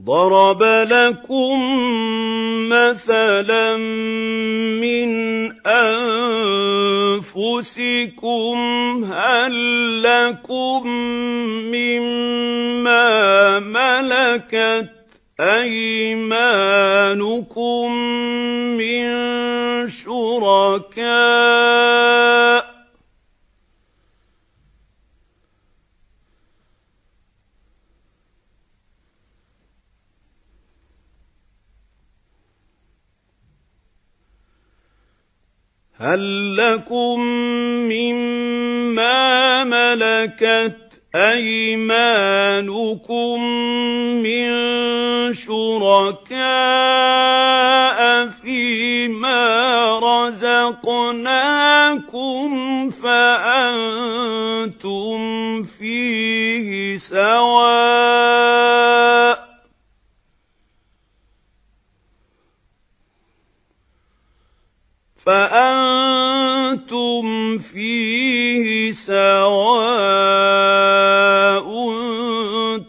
ضَرَبَ لَكُم مَّثَلًا مِّنْ أَنفُسِكُمْ ۖ هَل لَّكُم مِّن مَّا مَلَكَتْ أَيْمَانُكُم مِّن شُرَكَاءَ فِي مَا رَزَقْنَاكُمْ فَأَنتُمْ فِيهِ سَوَاءٌ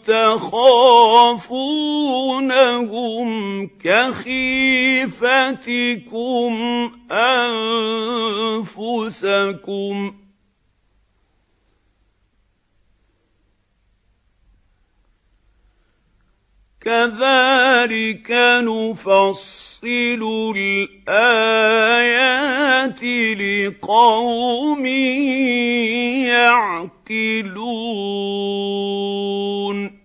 تَخَافُونَهُمْ كَخِيفَتِكُمْ أَنفُسَكُمْ ۚ كَذَٰلِكَ نُفَصِّلُ الْآيَاتِ لِقَوْمٍ يَعْقِلُونَ